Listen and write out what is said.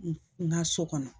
N ka so kɔnɔ